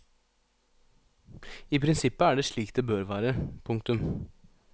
I prinsippet er det slik det bør være. punktum